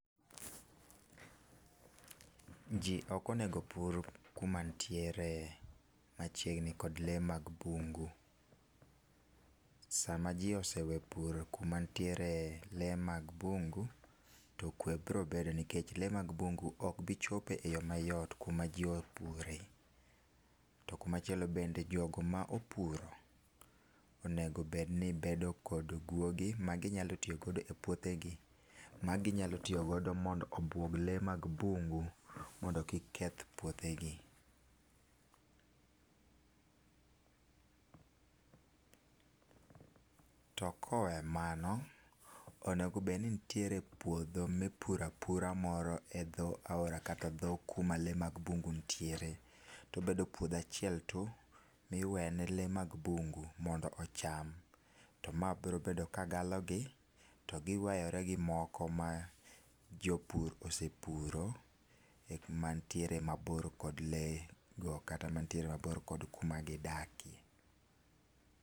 Ji ok onego opur ku ma nitiere machiegni kod lee mag bungu. Sa ma ji ose we puro kama nitiere lee mag bungu to kwe biro bedo nikech lee mag bungu ok bi chopo e yo mayot ku ma ji opure, to kumachielo, to jok ma opuro onego obed gi guogi ma gi nyalo tiyo godo e puothe gi ma gi nyalo tiyo godo mondo obwog lee mag bungu mondo kik keth puothe gi .To ko owe mano, onego bed nitiere puodho mi ipuro apura moro e dhi aora kata dho ku ma lee mag bungu nitiere to obedopuodho achiel tu ma iwe ne lee mag bungu mondo ocam to ma biro bedo ka galo gi to gi were gi moko ma jopur osepuro ma nitie mabor kod lee go kata man nitiere mabor kod ku ma gi dakie.